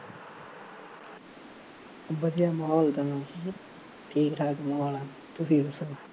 ਵਧੀਆ ਮਾਹੌਲ ਤਾਂ, ਠੀਕ ਠਾਕ ਮਾਹੌਲ, ਤੁਸੀਂ ਦੱਸੋ